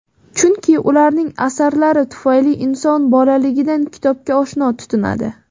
Chunki ularning asarlari tufayli inson bolaligidan kitobga oshno tutinadi.